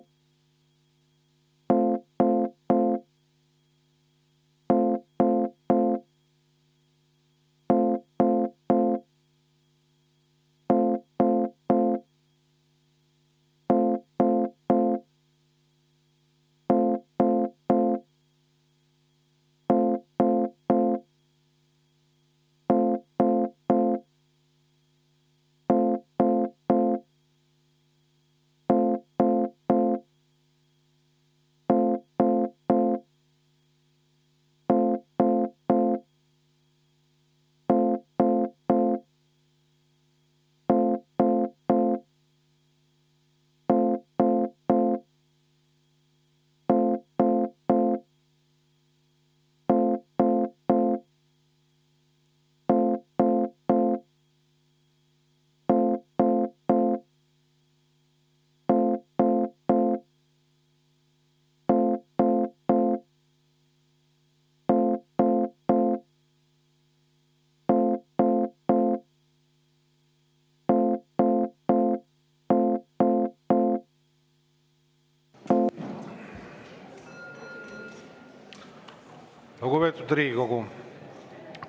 Lugupeetud Riigikogu!